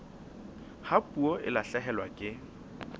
ha puo e lahlehelwa ke